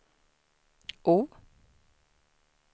O